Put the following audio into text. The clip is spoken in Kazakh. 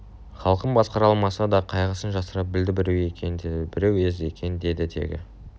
халқын басқара алмаса да қайғысын жасыра білді біреу ер екен деді біреу ез екен деді тегі